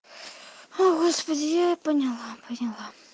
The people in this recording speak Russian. о господи я поняла поняла